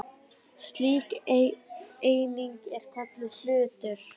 Slík eining er kölluð hlutur.